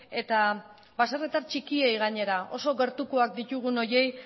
eta baserritar txikiei gainera oso gertukoak ditugun horiei